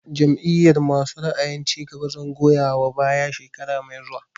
Jam'iyar masu ra'ayin cigaba zan goya wa baya shekara mai zuwa